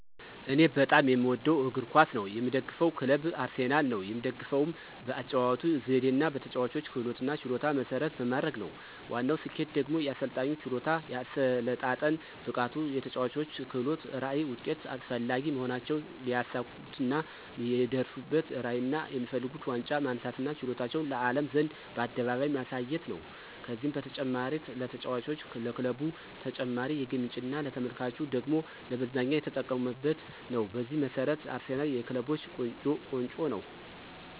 እኔ በጣም የምወደው እግር ኳስ ነው። የምደግፈው ክለብም አርሰናል ነው። የምደግፈውም በአጨዋወቱ ዘዴና በተጨዋቾች ክህሎትና ችሎታን መሰረት በማድረግ ነው። ዋናው ስኬቱ ደግሞ የአሰልጣኙ ችሎታ፣ የአሰለጣጠን ብቃቱ፣ የተጨዋቾች ክህሎት፣ ራዕይ፣ ውጤት ፈላጊ መሆናቸውና ሊያሳኩትና ሊደርሱበትራዕይና የሚፈልጉት ዋንጫ ማንሳትና ችሎታቸውን ለአለም ዘንድ በአደባባይ ማሳየት ነው። ከዚህም በተጨማሪ ለተጫዋቾች፣ ለክለቡ ተጨማሪ የገቢ ምንጭና ለተመልካቹ ደግሞ ለመዝናኛ እየተጠቀመበት ነው። በዚህ መሰረት አርሰናል የክለቦች ቆንጮ ነው